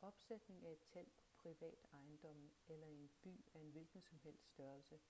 opsætning af et telt på privat ejendomme eller i en by af en hvilken som helst størrelse